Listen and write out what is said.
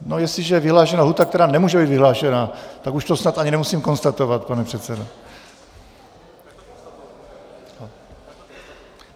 No, jestliže je vyhlášena lhůta, která nemůže být vyhlášena, tak už to snad ani nemusím konstatovat, pane předsedo.